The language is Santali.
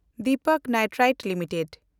ᱫᱤᱯᱚᱠ ᱱᱟᱭᱴᱨᱟᱭᱴ ᱞᱤᱢᱤᱴᱮᱰ